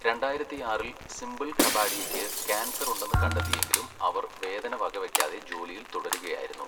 രണ്ടായിരത്തിയാറിൽ സിമ്പിൾ കപാഡിയയ്ക്ക് ക്യാൻസർ ഉണ്ടെന്ന് കണ്ടെത്തിയെങ്കിലും അവർ വേദന വകവയ്ക്കാതെ ജോലിയിൽ തുടരുകയായിരുന്നു.